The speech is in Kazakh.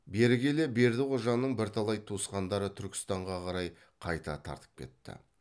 бері келе бердіқожаның бірталай туысқандары түркістанға қарай қайта тартып кетті